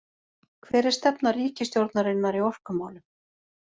Hver er stefna ríkisstjórnarinnar í orkumálum